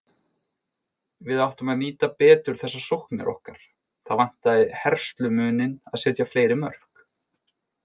Við áttum að nýta betur þessar sóknir okkar, það vantaði herslumuninn að setja fleiri mörk.